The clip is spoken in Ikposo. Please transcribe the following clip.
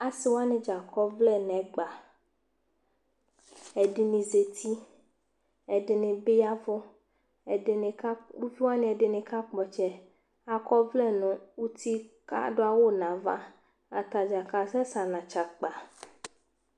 ase wani dza akɔ ɔvlɛ no ɛgba ɛdini zati ɛdini bi yavo ɛdini ka uvi wani ɛdini kakpɔ ɔtsɛ akɔ ɔvlɛ no uti ko ado awu no ava atadza kasɛ sɛ anatsɛ akpa